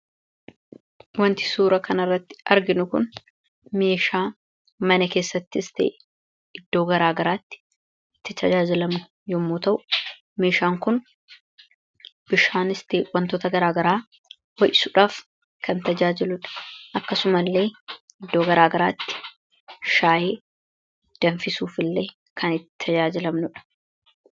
Wanti suura kana irratti arginu kun meeshaa mana keessattis ta'e iddoo garaa garaatti tajaajilamnu yommuu ta'u, meeshaan kunis bishaanis ta'e wantoota garaa garaa ho'isuuf kan tajaajiludha. Akkasumas illee iddoo garaa garaatti shaayii danfisuuf illee kan itti tajaajilamnudha.